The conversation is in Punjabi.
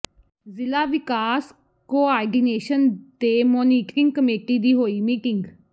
ਜ਼ਿਲਾ ਵਿਕਾਸ ਕੋਆਰਡੀਨੇਸ਼ਨ ਤੇ ਮੋਨੀਟਰਿੰਗ ਕਮੇਟੀ ਦੀ ਹੋਈ ਮੀਟਿੰਗ